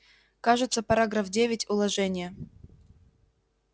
кажется параграф девять уложения